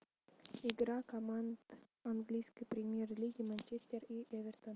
игра команд английской премьер лиги манчестер и эвертон